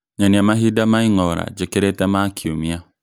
nyonia mahinda ma ĩng'ora njĩkĩrite ma kiumia